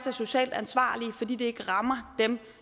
er socialt ansvarlige fordi de ikke rammer dem